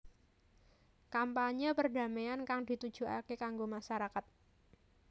Kampanyé perdamaian kang ditujukaké kanggo masarakat